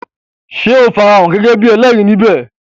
Sé o farahàn gẹ́gẹ́ bíi ẹlẹ́rìí ní bè?